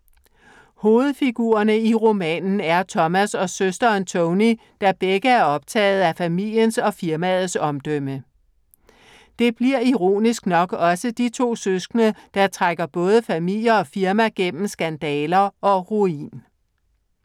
Hovedfigurerne i romanen er Thomas og søsteren Tony, der begge er optagede af familiens og firmaets omdømme. Det bliver ironisk nok også de to søskende, der trækker både familie og firma gennem skandaler og ruin.